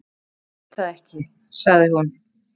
"""Ég veit það ekki, sagði hún."""